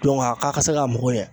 Dɔnku a ka ka se ka mago ɲɛ